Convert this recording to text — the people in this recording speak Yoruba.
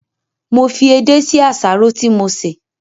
Mo fi edé sí àsáró tí mo sè